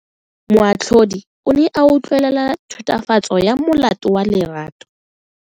Moatlhodi o ne a utlwelela tatofatso ya molato wa Lerato.